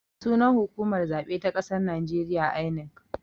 Sunan hukumar zaɓe ta ƙasar najeriya 'I.N.E.C'